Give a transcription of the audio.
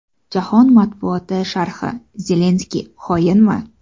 Jahon matbuoti sharhi: Zelenskiy xoinmi?